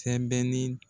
Sɛbɛnni